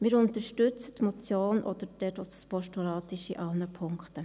Wir unterstützen die Motion, auch dort, wo sie ein Postulat ist, in allen Punkten.